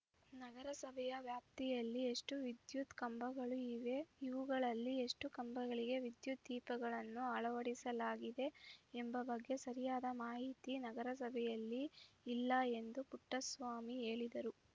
ನಗರಸಭೆಯ ವ್ಯಾಪ್ತಿಯಲ್ಲಿ ಎಷ್ಟುವಿದ್ಯುತ್‌ ಕಂಬಗಳು ಇವೆ ಇವುಗಳಲ್ಲಿ ಎಷ್ಟುಕಂಬಗಳಿಗೆ ವಿದ್ಯುತ್‌ ದೀಪಗಳನ್ನು ಅಳವಡಿಸಲಾಗಿದೆ ಎಂಬ ಬಗ್ಗೆ ಸರಿಯಾದ ಮಾಹಿತಿ ನಗರಸಭೆಯಲ್ಲಿ ಇಲ್ಲ ಎಂದು ಪುಟ್ಟಸ್ವಾಮಿ ಹೇಳಿದರು